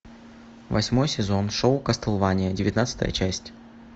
восьмой сезон шоу кастлвания девятнадцатая часть